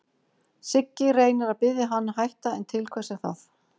Siggi reynir að biðja hann að hætta, en til hvers er það?